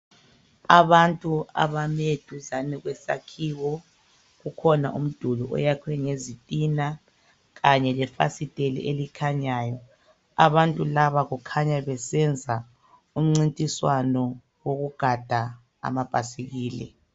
Abantu abame duzane kwesakhiyo kukhona umduli oyakhwe ngizitina kanye lefasiteli elikhanyayo abantu laba kukhanya bebesenza umncintiswano wokugada amabhasikili